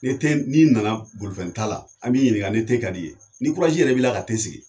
Ni te n'i nana bolifɛnta la ,an b'i ɲininka ni te ka di ye ni yɛrɛ b'i ka te sigi